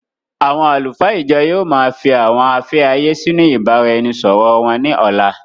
Àwọn àlùfáà ìjọ yìí ó má fii àwọn afẹ́ ayé sì inú ìbáraẹnisọọ̀rọ wón ní ọ̀la.